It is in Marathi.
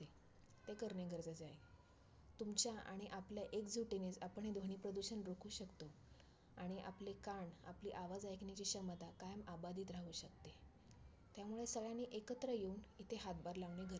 ते करणे गरजेचे आहे. तुमच्या आणि आपल्या एकजूटीने आपण हे ध्वनी प्रदूषण रोखवू शकतो. आणि आपले कान, आपली आवाज ऐकण्याची क्षमता कायम अबाधित राहु शकते. त्यामुळे सगळ्यांनी एकत्र येऊन इथे हातभार लावणे गरजेचे